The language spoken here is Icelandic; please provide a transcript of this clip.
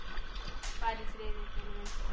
Far í friði, vinur minn.